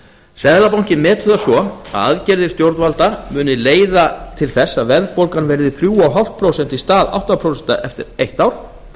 seðlabankinn metur það svo að aðgerðir stjórnvalda muni leiða til þess að verðbólgan verði þrjú og hálft prósent í stað átta prósent eftir eitt ár